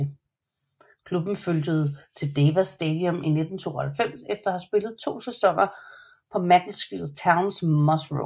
Klubben flyttede til Deva Stadium i 1992 efter at have spillet to sæsoner på Macclesfield Towns Moss Rose